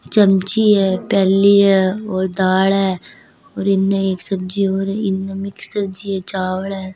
चमची है प्याली है और दाल है और इसमे एक सब्जी और है इनने मिक्स सब्जी है चावल है।